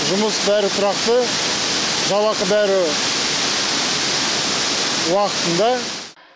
жұмыс бәрі тұрақты жалақы бәрі уақытында